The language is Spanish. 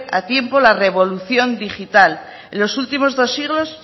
a tiempo la revolución digital en los últimos dos siglos